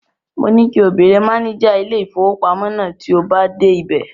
Mo ní kí o béèrè máníjà ilé-ìfowópamọ́ náà tí o bá dé ibẹ̀.